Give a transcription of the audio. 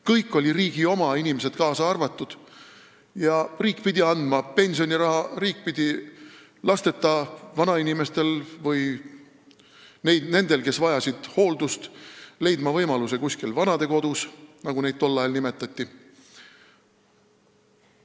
Kõik oli riigi oma, inimesed kaasa arvatud, ja riik pidi andma pensioniraha, riik pidi lasteta vanainimestele või nendele, kes vajasid hooldust, leidma võimaluse elada vanadekodus, nagu neid tol ajal nimetati.